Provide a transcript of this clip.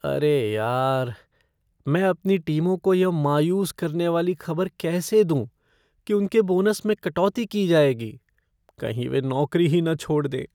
अरे यार... मैं अपनी टीमों को यह मायूस करने वाली खबर कैसे दूँ कि उनके बोनस में कटौती की जाएगी? कहीं वे नौकरी ही न छोड़ दें।